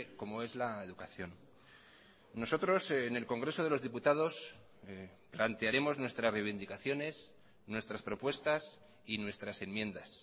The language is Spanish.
como es la educación nosotros en el congreso de los diputados plantearemos nuestras reivindicaciones nuestras propuestas y nuestras enmiendas